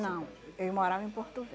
Não, eu morava em Porto